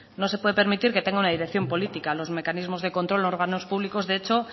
no se puede permitir que tenga una dirección política los mecanismos de control órganos públicos de hecho